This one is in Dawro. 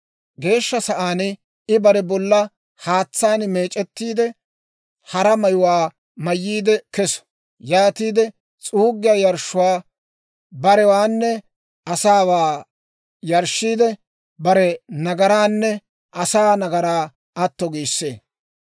Geeshsha sa'aan I bare bollaa haatsaan meec'ettiide, hara mayuwaa mayyiide keso; yaatiide s'uuggiyaa yarshshuwaa barewaanne asaawaa yarshshiide, bare nagaraanne asaa nagaraa atto giissee.